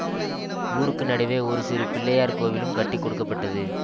ஊருக்கு நடுவே ஒரு சிறு பிள்ளையார் கோவிலும் கட்டி கொடுக்க பட்டது